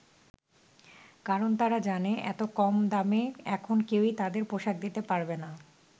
কারণ তারা জানে এত কম দামে এখন কেউই তাদের পোশাক দিতে পারবে না।